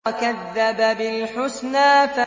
وَكَذَّبَ بِالْحُسْنَىٰ